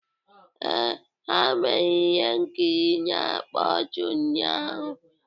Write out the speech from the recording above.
Ee, ha mere ihe nkiri na-akpa ọchị ụnyaahụ.